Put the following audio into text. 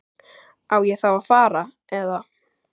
Á ég þá að fara. eða?